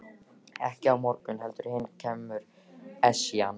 Ekki á morgun heldur hinn kemur Esjan.